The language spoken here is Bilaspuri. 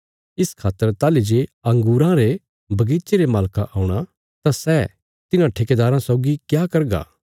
इस खातर ताहली जे अंगूरां रे बगीचे रे मालका औणा तां सै तिन्हां ठेकेदाराँ सौगी क्या करगा